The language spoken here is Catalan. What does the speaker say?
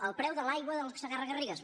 el preu de l’aigua del segarra garrigues